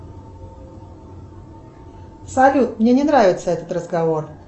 салют мне не нравится этот разговор